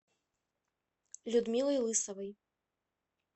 людмилой лысовой